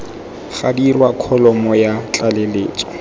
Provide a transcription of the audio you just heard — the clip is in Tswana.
ga dirwa kholomo ya tlaleletso